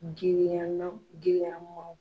Girinya na girinya maaw